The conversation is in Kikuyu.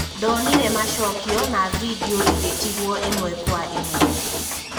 "Ndonire macokio na vindioigĩtigwo ĩmwe kwa imwe.